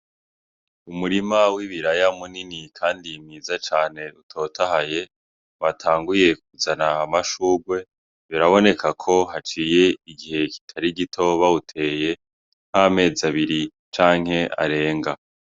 Umurima w'ibiraya munini kandi mwiza cane utotahaye watanguye kuzana amashurwe biraboneka ko haciye igihe kitari gito bawuteye nk'amezi abiri canke arenga.